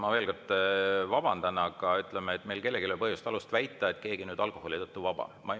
Ma veel kord vabandan, aga ütleme, et meil kellelgi ei ole põhjust ega alust väita, et keegi on nüüd alkoholi tõttu vaba.